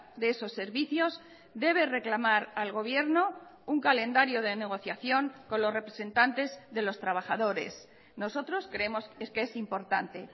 de esos servicios debe reclamar al gobierno un calendario de negociación con los representantes de los trabajadores nosotros creemos es que es importante